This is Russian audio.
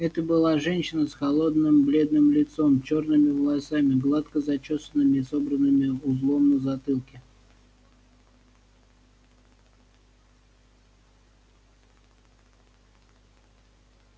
это была женщина с холодным бледным лицом чёрными волосами гладко зачёсанными и собранными узлом на затылке